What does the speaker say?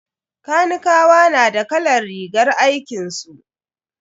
Kanikawa na da kalar rigar aikinsu.